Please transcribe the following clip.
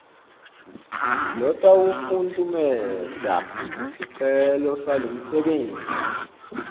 lotawutfumela nesicelo salomsebenti